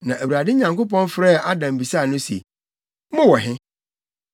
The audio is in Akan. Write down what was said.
Na Awurade Nyankopɔn frɛɛ Adam bisaa no se, “Mowɔ he?”